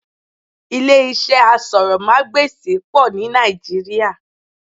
Ilé iṣẹ́ asọ̀rọ̀mágbèsì pọ̀ ní Nàìjíríà